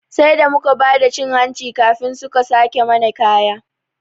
Sai da muka bada cin hanci kafin suka sake mana kaya.